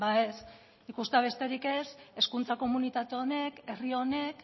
ez ikustea besterik ez hezkuntza komunitate honek herri honek